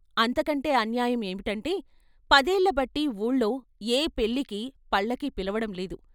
అంతకంటే అన్యాయం ఏమిటంటే పదేళ్ళబట్టి ఊళ్ళో ఏ పెళ్ళికి పల్లకీ పిలవడం లేదు.